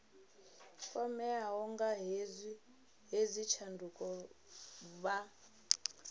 kwameaho nga hedzi tshanduko vha